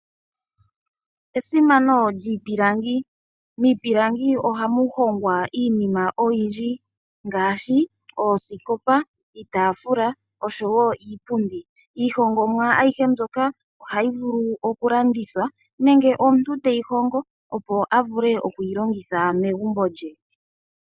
Esimano lyiipilangi, miipilangi ohamu hongwa iinima oyindji ngaashi oosikopa, iitafula, nosho woo iipundi. Iihongomwa ayihe mbyoka ohayi vulu okulandithwa nenge omuntu teyi hongo opo a vule okwiilongitha megumbo lye.